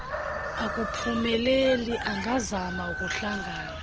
akuphumeleli angazama ukuhlangana